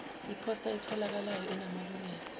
iphosta etholakalayo enamalungelo